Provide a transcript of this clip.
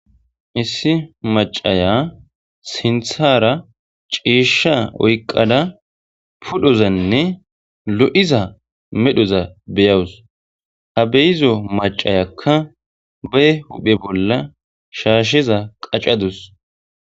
Issi macaya sinthara ciishsha oyqada pudhozanne lo'iza medhoza beyawus ha beyizo macayakka ba huphe bolla shaasheza qacadus.